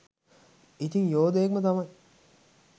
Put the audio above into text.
ඉතිං යෝදයෙක් ම තමයි.